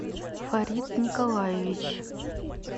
фарид николаевич